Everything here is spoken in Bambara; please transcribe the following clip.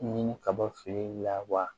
Ni kabafeereli la wa